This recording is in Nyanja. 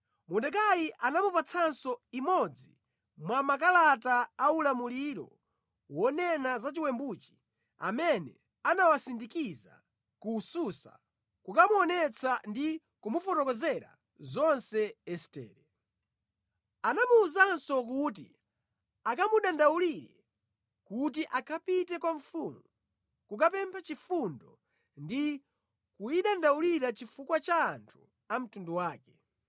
Mordekai anamupatsanso imodzi mwa makalata a ulamuliro wonena za chiwembuchi amene anawasindikiza ku Susa kukamuonetsa ndi kumufotokozera zonse Estere. Anamuwuzanso kuti akamudandaulire kuti akapite kwa mfumu kukapempha chifundo ndi kuyidandaulira chifukwa cha anthu a mtundu wake.